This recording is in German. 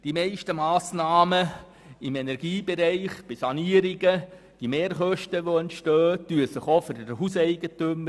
Die entstehenden Mehrkosten bei den meisten Sanierungsmassnahmen im Energiebereich rechnen sich auch für den Hauseigentümer.